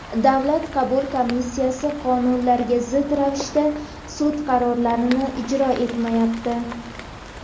Davlat qabul komissiyasi qonunlarga zid ravishda sud qarorlarini ijro etmayapti.